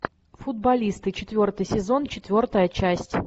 футболисты четвертый сезон четвертая часть